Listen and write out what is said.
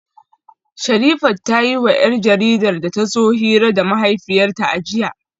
Sherifat ta yiwa 'yar jaridar da ta zo hira da mahaifiyarta a jiya